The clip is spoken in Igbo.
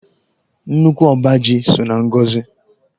Nnukwu ọba ji so na ngọzị.